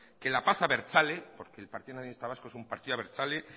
que la paz abertzale porque el partido nacionalista vasco es un partido abertzale